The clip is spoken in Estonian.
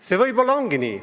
See võib-olla ongi nii.